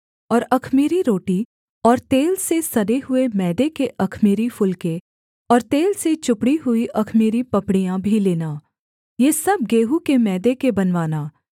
और अख़मीरी रोटी और तेल से सने हुए मैदे के अख़मीरी फुलके और तेल से चुपड़ी हुई अख़मीरी पपड़ियाँ भी लेना ये सब गेहूँ के मैदे के बनवाना